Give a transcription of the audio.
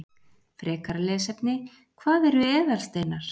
Frekara lesefni: Hvað eru eðalsteinar?